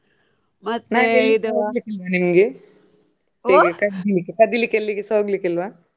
, ಮತ್ತೆ ಕದಿಲಿಕ್ಕೆ ಎಲ್ಲಿಸ ಹೋಗ್ಲಿಕ್ಕೆ ಇಲ್ವಾ?